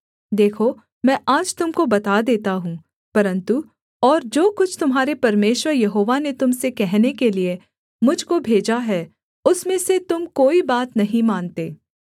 देखो मैं आज तुम को बता देता हूँ परन्तु और जो कुछ तुम्हारे परमेश्वर यहोवा ने तुम से कहने के लिये मुझ को भेजा है उसमें से तुम कोई बात नहीं मानते